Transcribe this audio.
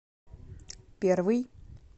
первый